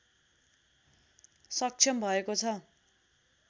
सक्षम भएको छ